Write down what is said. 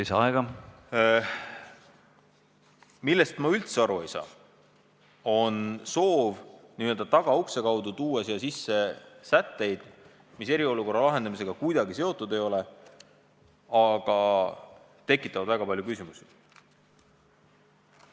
See, millest ma üldse aru ei saa, on soov tuua n-ö tagaukse kaudu sisse sätteid, mis eriolukorra lahendamisega kuidagi seotud ei ole, aga tekitavad väga palju küsimusi.